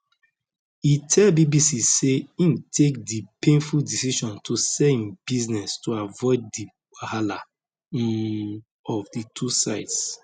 e tell bbc say im take di painful decision to sell im business to avoid di wahala um of di two sides